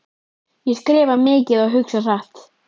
Ég skrifa mikið og hugsa hratt.